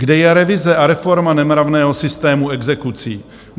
Kde je revize a reforma nemravného systému exekucí?